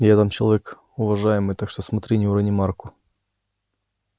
я там человек уважаемый так что смотри не урони марку